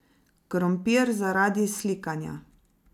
Krompir zaradi slikanja.